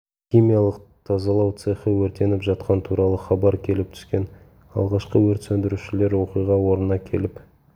химиялық тазалау цехы өртеніп жатқаны туралы хабар келіп түскен алғашқы өрт сөндірушілер оқиға орнына келіп